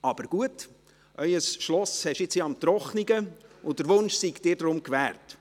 Aber gut, Ihr Schloss haben Sie ja nun im Trockenen, und der Wunsch sei Ihnen deshalb gewährt.